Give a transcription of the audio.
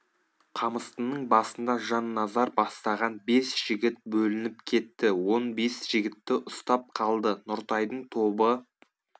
қамыстының басында жанназар бастаған бес жігіт бөлініп кетті он бес жігітті ұстап қалды нұртайдың тобы